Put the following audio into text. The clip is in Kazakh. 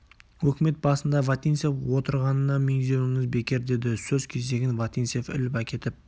өкімет басында вотинцев отырғанына меңзеуіңіз бекер деді сөз кезегін вотинцев іліп әкетіп